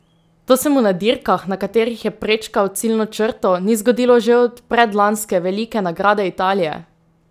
To se mu na dirkah, na katerih je prečkal ciljno črto, ni zgodilo že od predlanske velike nagrade Italije!